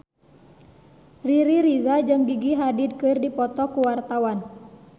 Riri Reza jeung Gigi Hadid keur dipoto ku wartawan